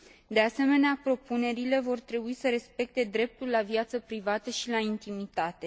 De asemenea, propunerile vor trebui să respecte dreptul la viață privată și la intimitate.